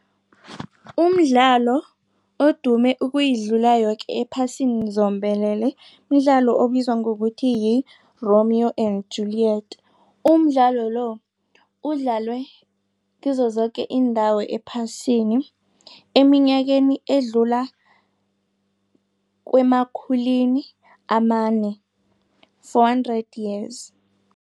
Umdlalo odume ukuyidlula yoke ephasini zombelele mdlalo obizwa ngokuthi, yi-Romeo and Julient. Umdlalo lo udlalwe kizo zoke iindawo ephasini eminyakeni edlula kwemakhulwini amane, four hundred years.